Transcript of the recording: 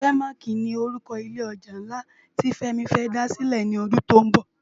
Fèmáki ni órúkò ilé òjá nlá ti Femi fè dá silè lòdún tó nbò